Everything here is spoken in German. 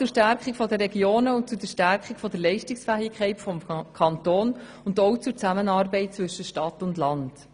So viel zur Stärkung der Regionen, zur Stärkung der Leistungsfähigkeit des Kantons und auch zur Zusammenarbeit zwischen Stadt und Land.